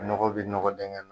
Ɲɔgɔn bɛ ɲɔgɔn denkɛ.